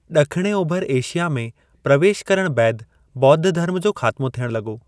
ड॒खिणे ओभर एशिया में प्रवेशु करणु बैदि ॿोद्ध धर्म जो ख़ात्मो थियणु लॻो।